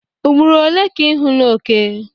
Ugboro ole ka ị hụla oke?